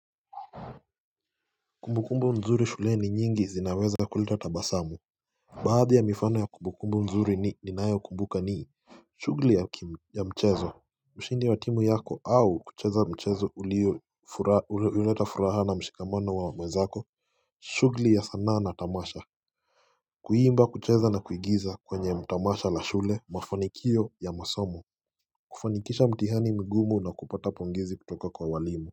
Kumbukumbu mzuri shule ni nyingi zinaweza kuleta tabasamu Baadhi ya mifano ya kumbukumbu mzuri ninayo kumbuka ni shugli ya mchezo mshindi wa timu yako au kucheza mchezo ulio leta furaha na mshikamano wa mwezako shugli ya sanaa na tamasha Kuimba kucheza na kuigiza kwenye tamasha la shule mafanikio ya masomo kufanikisha mtihani mgumu na kupata pongezi kutoka kwa walimu.